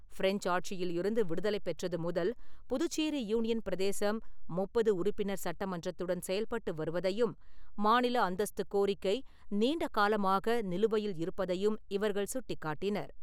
French ஆட்சியில் இருந்து விடுதலை பெற்றது முதல் புதுச்சேரி யூனியன் பிரதேசம் முப்பது உறுப்பினர் சட்டமன்றத்துடன் செயல்பட்டு வருவதையும், மாநில அந்தஸ்து கோரிக்கை நீண்ட காலமாக நிலுவையில் இருப்பதையும் இவர்கள் சுட்டிக்காட்டினர்.